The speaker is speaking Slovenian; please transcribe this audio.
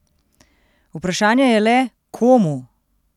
Vprašanje je le, komu?